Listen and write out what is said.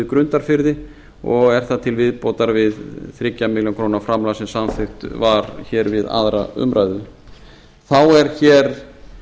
grundarfirði og er það til viðbótar við þriggja milljóna króna framlag sem samþykkt var við aðra umræðu þá er